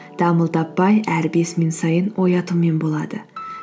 дамыл таппай әр бес минут сайын оятумен болады